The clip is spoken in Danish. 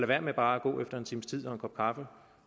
være med bare at gå efter en times tid og en kop kaffe